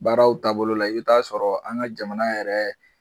Baaraw taabolo la i bɛ taa sɔrɔ an ka jamana yɛrɛ